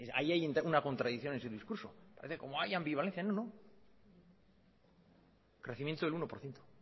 ahí hay una contradicción en ese discurso parece como que hay ambivalencia no no crecimiento del uno por ciento